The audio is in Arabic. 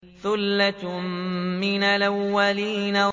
ثُلَّةٌ مِّنَ الْأَوَّلِينَ